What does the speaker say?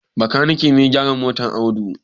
Bakanike ne ya gyara motar Audu.